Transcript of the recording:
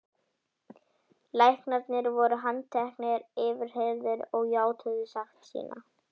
Læknarnir voru handteknir, yfirheyrðir og játuðu sekt sína.